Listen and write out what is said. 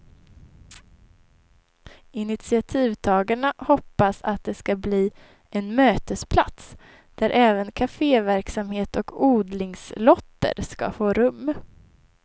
Initiativtagarna hoppas det ska bli en mötesplats, där även caféverksamhet och odlingslotter ska få rum.